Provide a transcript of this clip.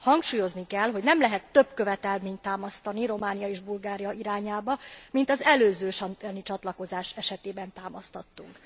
Hangsúlyozni kell, hogy nem lehet több követelményt támasztani Románia és Bulgária irányába, mint az előző schengeni csatlakozás esetében támasztottunk.